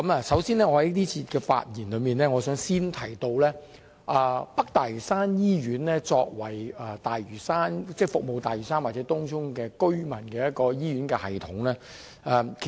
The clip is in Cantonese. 首先，在這節發言中，我想先說一說北大嶼山醫院這個作為服務大嶼山或東涌居民的醫療系統。